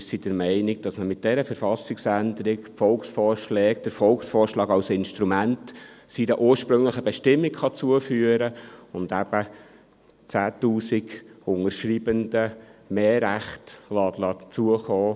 Wir sind der Meinung, dass man mit dieser Verfassungsänderung, den Volksvorschlag als Instrument seiner ursprünglichen Bestimmung zuführen kann und eben 10 000 Unterschreibenden mehr Rechte zukommen